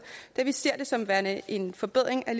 da vi ser det som værende en forbedring af